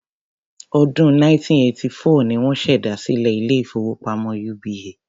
Ọdún 1984 ni wọ́n ṣèdásílẹl ilé-ìfowópamọ́ UBA.